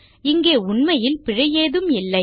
இங்கே உண்மையில் பிழை ஏதும் இல்லை